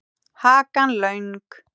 Hakan löng.